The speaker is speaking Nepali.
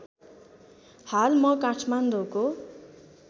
हाल म काठमाडौँको